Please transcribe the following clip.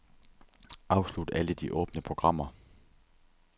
Afslut alle de åbne programmer.